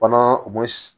Fana u bɛ